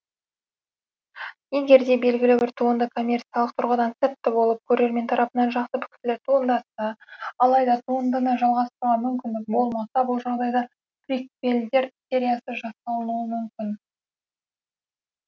егерде белгілі бір туынды коммерциялық тұрғыдан сәтті болып көрермен тарапынан жақсы пікірлер туындатса алайда туындыны жалғастыруға мүмкіндік болмаса бұл жағдайда приквелдер сериясы жасалынуы мүмкін